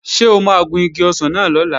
Ṣé o máa gun igi ọsàn náà lọ́la?